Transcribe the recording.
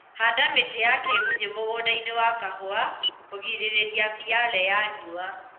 Handa mĩtĩ ya kĩgunyĩ mũgũndainĩ wa kahũa kũgirĩrĩria mĩale ya riũa